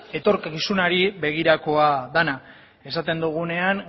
etorkizunari begirakoa dena esaten dugunean